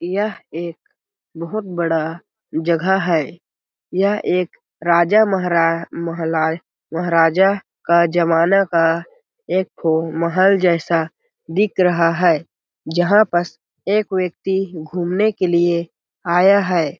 यह एक बहुत बड़ा जगह है यह एक राजा-महरा महला-महराजा का जमाना का एक ठो महल जैसा दिक रहा है जहाँ पस एक व्यक्ति घूमने के लिए आया है।